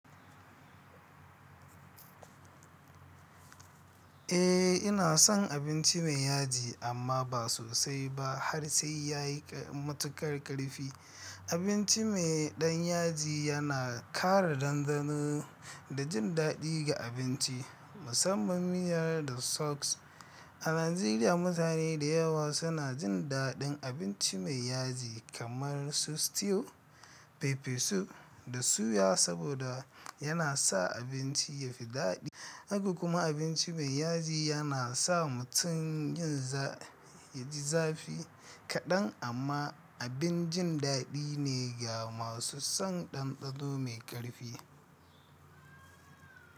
Eh, ina son abinci mai yaji amma ba sosai ba har sai ya yi matuƙar ƙarfi. Abinci mai ɗan yaji yana ƙara danɗano da jin daɗi ga abinci, musamman miyar da sos. A Najeriya, mutane da yawa suna jin daɗin abinci mai yaji kamar su stew, pepper soup da suya saboda yana sa abinci ya fi daɗi. Haka kuma abinci mai yaji yana sa mutum jin zafi kaɗan amma abin jin daɗi ne ga masu son ɗanɗano mai ƙarfi.